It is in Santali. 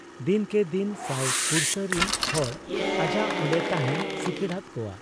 ᱫᱤᱱᱠᱮ ᱫᱤᱱ ᱥᱟᱹᱭ ᱯᱩᱲᱥᱟᱹ ᱨᱤᱱ ᱦᱚᱲ ᱟᱡᱟᱜ ᱚᱱᱰᱮ ᱛᱟᱦᱮᱸᱱ ᱥᱤᱠᱤᱲᱟᱫ ᱠᱚᱣᱟ ᱾